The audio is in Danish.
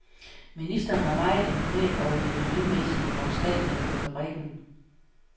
Ministeren var meget imponeret over de miljømæssige foranstaltninger på fabrikken.